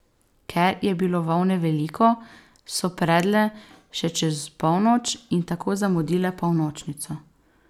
Ker je bilo volne veliko, so predle še čez polnoč, in tako zamudile polnočnico.